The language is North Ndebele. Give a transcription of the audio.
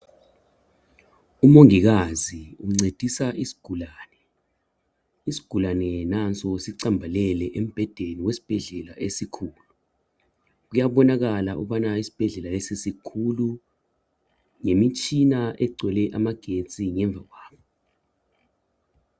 Umongikazi incedisa isigulane. Isigulane nanso sicambalele embhedeni wesibhedlela esikhulu kuyabonakala ukubana isibhedlela lesi sikhulu ngemitshina begcwele amagetsi ngemva kwayo.